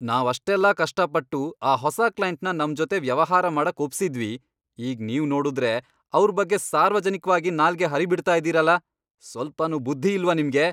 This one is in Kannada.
ನಾವ್ ಅಷ್ಟೆಲ್ಲ ಕಷ್ಟ ಪಟ್ಟು ಆ ಹೊಸ ಕ್ಲೈಂಟ್ನ ನಮ್ ಜೊತೆ ವ್ಯವಹಾರ ಮಾಡಕ್ ಒಪ್ಸಿದ್ವಿ, ಈಗ್ ನೀವ್ ನೋಡುದ್ರೆ ಅವ್ರ್ ಬಗ್ಗೆ ಸಾರ್ವಜನಿಕ್ವಾಗಿ ನಾಲ್ಗೆ ಹರಿಬಿಡ್ತಾ ಇದೀರಲ, ಸ್ವಲ್ಪನೂ ಬುದ್ಧಿ ಇಲ್ವಾ ನಿಮ್ಗೆ?!